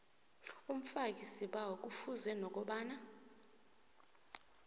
umfakisibawo kufuze nokobana